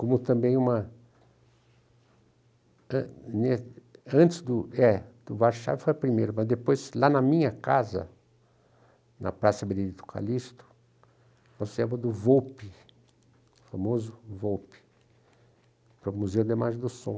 Como também uma... antes do... é, do Warchavchik foi a primeira, mas depois, lá na minha casa, na Praça Benedito Calixto, nós levamos do Volpi, famoso Volpi, para o Museu de Imagens do Som.